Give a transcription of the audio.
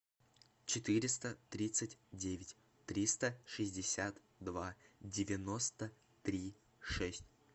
четыреста тридцать девять триста шестьдесят два девяносто три шесть